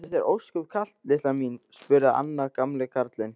Er þér ósköp kalt litla mín? spurði annar gamli karlinn.